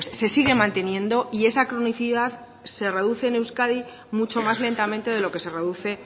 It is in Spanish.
se sigue manteniendo y esa cronicidad se reduce en euskadi mucho más lentamente de lo que se reduce